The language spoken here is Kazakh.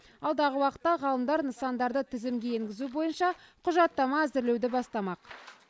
алдағы уақытта ғалымдар нысандарды тізімге енгізу бойынша құжаттама әзірлеуді бастамақ